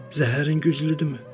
Zəhərin güclüdümü?